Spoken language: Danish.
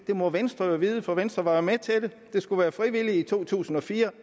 må venstre jo vide for venstre var jo med til det det skulle være frivilligt i to tusind og fire